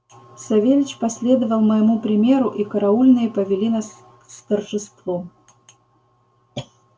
савельич последовал моему примеру и караульные повели нас с торжеством